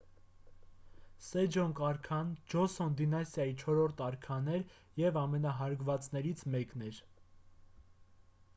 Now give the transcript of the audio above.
սեջոնգ արքան ջոսոն դինաստիայի չորրորդ արքան էր և ամենահարգվածներից մեկն էր